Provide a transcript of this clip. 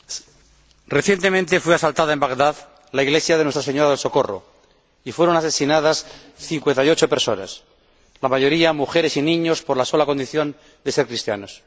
Señora Presidenta, recientemente fue asaltada en Bagdad la iglesia de Nuestra Señora del Socorro y fueron asesinadas 58 personas, en su mayoría mujeres y niños, por la sola condición de ser cristianos.